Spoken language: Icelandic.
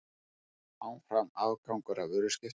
Áfram afgangur af vöruskiptum